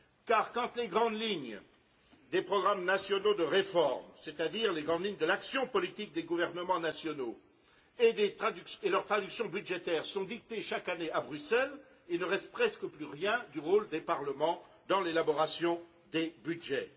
Car, quand les grandes lignes des programmes nationaux de réforme, c'est à dire les grandes lignes de l'action politique des gouvernements nationaux, et leur traduction budgétaire sont dictées chaque année à Bruxelles, il ne reste presque plus rien du rôle des parlements dans l'élaboration des budgets.